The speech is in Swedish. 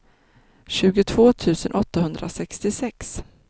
tjugotvå tusen åttahundrasextiosex